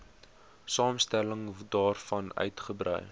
samestelling daarvan uitgebrei